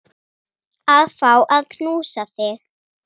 Já, ég er bara hress.